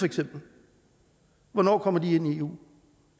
hvornår kommer de ind i eu